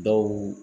Dɔw